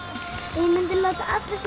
ég mundi láta alla sem